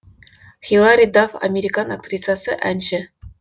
хилари дафф американ актрисасы әнші